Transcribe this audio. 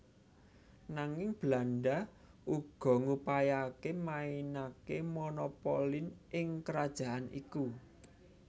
Nanging Belanda uga ngupayakake mainake monopolin ing kerajaan iku